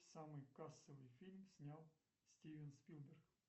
самый кассовый фильм снял стивен спилберг